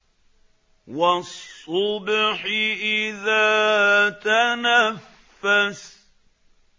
وَالصُّبْحِ إِذَا تَنَفَّسَ